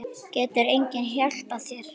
Getur enginn hjálpað þér?